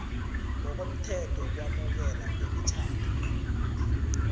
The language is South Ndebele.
ngokomthetho wokwamukelwa kwemitjhado